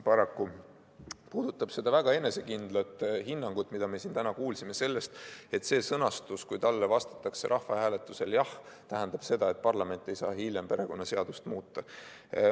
See puudutab seda väga enesekindlat hinnangut, mida me siin täna kuulsime, et kui rahvahääletusel vastatakse jah, siis küsimuse sõnastus tähendab seda, et parlament ei saa hiljem perekonnaseadust muuta.